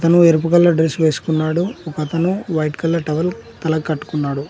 తను ఎరుపు colour dress వేసుకున్నాడు ఒక అతను వైట్ కలర్ టవల్ తలకి కట్టుకున్నాడు.